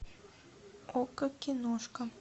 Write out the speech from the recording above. окко киношка